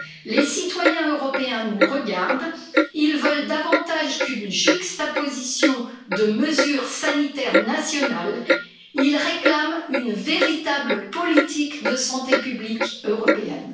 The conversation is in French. Les citoyens européens nous regardent, ils veulent davantage qu'une juxtaposition de mesures sanitaires nationales, ils réclament une véritable politique de santé publique européenne.